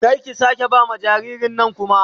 Kar ki sake ba ma jaririn nan kuma